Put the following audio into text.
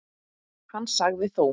Hann sagði þó